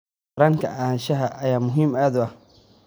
Taranka Anshaxa ayaa aad muhiim u ah.